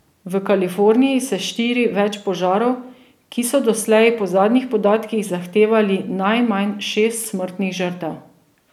V Kaliforniji se širi več požarov, ki so doslej po zadnjih podatkih zahtevali najmanj šest smrtnih žrtev.